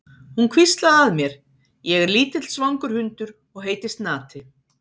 Hún hvíslaði að mér: Ég er lítill svangur hundur og heiti Snati.